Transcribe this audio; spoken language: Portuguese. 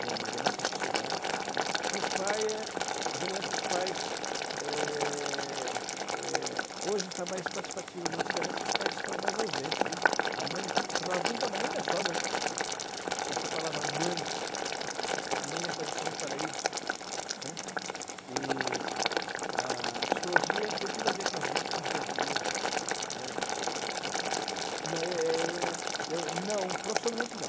da nossa sociedade né que o pai é geralmente os pais eh eh hoje está mais participativo mas antigamente os pais ficavam mais ausentes né a mãe sobrava tudo para a mãe e ainda sobra né que essa palavra mãe mãe é parecer um paraíso né e a psicologia tem tudo a ver com a gente no dia a dia gente mas você nunca chegou a trabalhar como psicólogo não, eu eu, não profissionalmente não